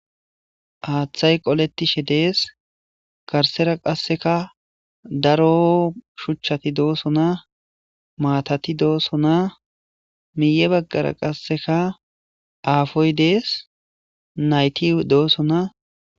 Haaththay qoletishe dees garsera qasseka daro shuchchati dooso maatati dooso miiye baggara qasseka aafoy dees nayti dooso.